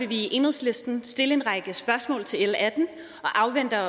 vi i enhedslisten stille en række spørgsmål til l atten og afvente